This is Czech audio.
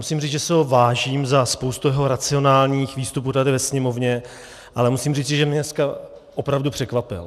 Musím říct, že si ho vážím za spoustu jeho racionálních výstupů tady ve Sněmovně, ale musím říci, že mě dneska opravdu překvapil.